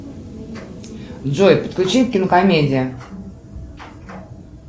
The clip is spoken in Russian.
джой подключи кинокомедия